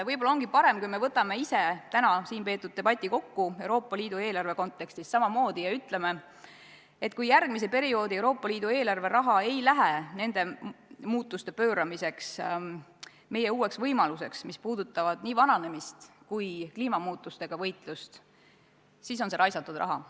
Võib-olla ongi parem, kui me võtame täna siin peetud debati Euroopa Liidu eelarve kontekstis kokku samamoodi ja ütleme, et kui järgmise perioodi Euroopa Liidu eelarveraha ei lähe nende muutuste pööramiseks uuteks võimalusteks – need puudutavad nii vananemist kui ka kliimamuutustega võitlemist –, siis on see raisatud raha.